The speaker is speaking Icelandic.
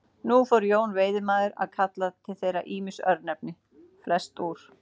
Nú fór Jón veiðimaður að kalla til þeirra ýmis örnefni, flest úr